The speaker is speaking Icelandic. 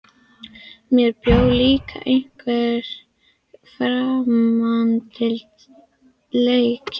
Í mér bjó líka einhver framandleiki.